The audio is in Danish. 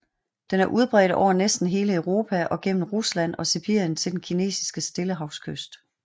Den er udbredt over næsten hele Europa og gennem Rusland og Sibirien til den kinesiske Stillehavskyst